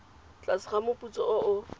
tlase ga moputso o o